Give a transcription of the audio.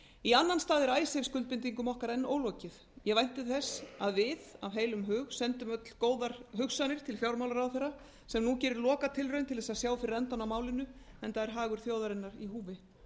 í annan stað er icesave skuldbindingum okkar enn ólokið ég vænti þess að við af góðum hug sendum öll góðar hugsanir til fjármálaráðherra sem nú gerir lokatilraun til að sjá fyrir endann á málinu enda er hagur þjóðarinnar í húfi